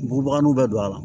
Bugubaganinw bɛ don a la